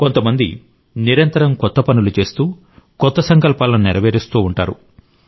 కొంతమంది నిరంతరం కొత్త పనులు చేస్తూ కొత్త సంకల్పాలను నెరవేరుస్తూ ఉంటారు